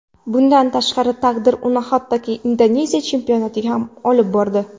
Bundan tashqari taqdir uni hattoki Indoneziya chempionatiga olib bordi.